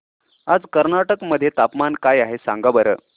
आज कर्नाटक मध्ये तापमान काय आहे सांगा बरं